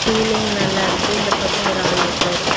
Ceiling நல்லா இருக்கு. இந்த பக்கம் ஒரு ஆள் இருக்கார்.